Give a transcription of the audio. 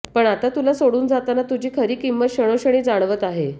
पण आता तुला सोडून जाताना तुझी खरी किंमत क्षणोक्षणी जाणवत आहे